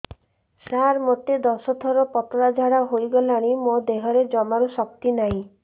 ସାର ମୋତେ ଦଶ ଥର ପତଳା ଝାଡା ହେଇଗଲାଣି ମୋ ଦେହରେ ଜମାରୁ ଶକ୍ତି ନାହିଁ